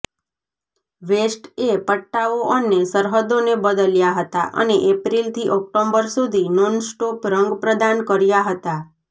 વેસ્ટએ પટ્ટાઓ અને સરહદોને બદલ્યા હતા અને એપ્રિલથી ઓકટોબર સુધી નોનસ્ટોપ રંગ પ્રદાન કર્યા હતા